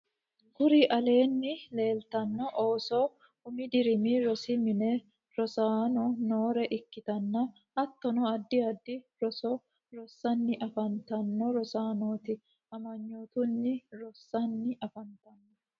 kuri aleenni leelitanno ooso umi dirimi rosi mine rossanni noore ikkitanna hattonni addi addi roso rosanni afantanno rosaanoti. amanyootunni rossanni afantanno.